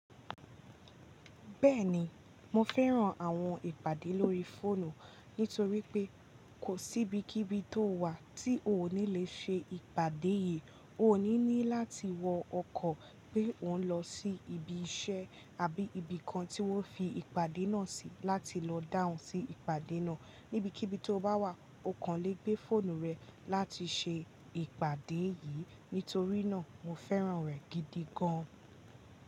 Bẹ́ẹ̀ni, mo fẹ́ran àwọn ìpàdé lórí fóònù nítorí pé kò sí ibikíbi tó wà tí o ní lè ṣe ìpàdé yìí. O ní ní láti wọ ọkọ̀ pé ọ́ún lọ sí ibi iṣẹ́ àbí ibìkan tí wọ́n fi ìpàdé náà sí láti lọ dahun sí ìpàdé náà. Nibikíbi tó bá wà ọ̀kan lè gbé fóònù rè láti ṣe ìpàdé yìí. Nítorí náà mo fẹ́ran rẹ̀ gidi gan an.